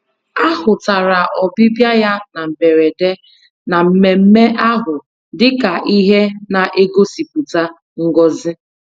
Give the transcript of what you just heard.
A hụtara ọbịbịa ya na mberede na mmemmé ahụ dị ka ihe na-egosipụta ngọzi